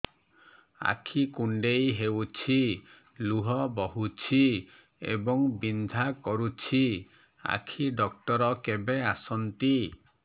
ଆଖି କୁଣ୍ଡେଇ ହେଉଛି ଲୁହ ବହୁଛି ଏବଂ ବିନ୍ଧା କରୁଛି ଆଖି ଡକ୍ଟର କେବେ ଆସନ୍ତି